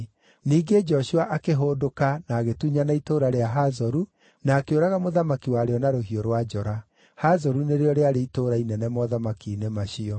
Ningĩ Joshua akĩhũndũka na agĩtunyana itũũra rĩa Hazoru na akĩũraga mũthamaki warĩo na rũhiũ rwa njora. (Hazoru nĩrĩo rĩarĩ itũũra inene mothamaki-inĩ macio).